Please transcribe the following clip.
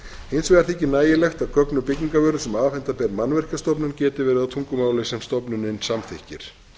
hins vegar þykir nægilegt að gögn um byggingarvöru sem afhenda ber mannvirkjastofnun geti verið á tungumáli sem stofnunin samþykkir